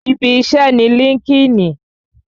Ibi iṣẹ́ ni líńki-inì